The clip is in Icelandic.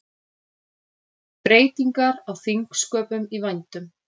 Breytingar á þingsköpum í vændum